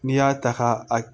N'i y'a ta ka a